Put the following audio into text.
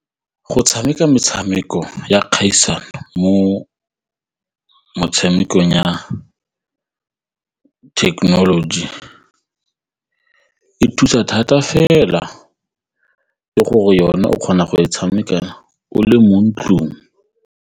Go tshameka metshameko ya kgaisano mo motshamekong ya technology e thusa thata fela ke gore yone o kgona go e tshameka o le mo ntlong.